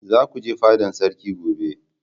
za ku je fadan sarki gobe!